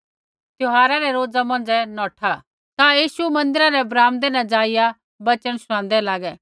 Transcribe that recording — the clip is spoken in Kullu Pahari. त्यौहारा रै रोज़ा मौंझ़ै नौठा ता यीशु मन्दिरा रै ब्राम्दै न जाईया वचन शूणान्दै लागे